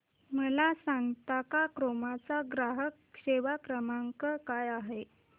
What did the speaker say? मला सांगता का क्रोमा चा ग्राहक सेवा क्रमांक काय आहे